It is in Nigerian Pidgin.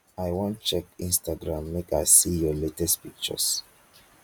i wan check instagram make i see your latest pictures.